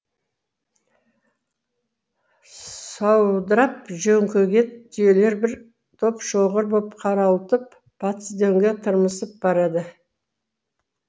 саудырап жөңкіген түйелер бір топ шоғыр боп қарауытып батыс дөңге тырмысып барады